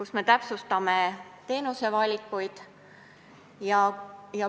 Seal me täpsustame ka teenusevalikuid.